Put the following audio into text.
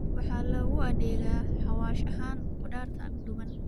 Waxaa loogu adeegaa xawaash ahaan khudaarta duban